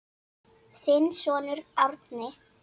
Þinn sonur Árni.